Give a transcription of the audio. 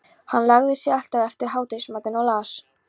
Hann lagði sig alltaf eftir hádegismatinn og las